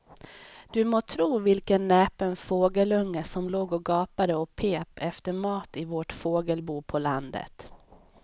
Du må tro vilken näpen fågelunge som låg och gapade och pep efter mat i vårt fågelbo på landet.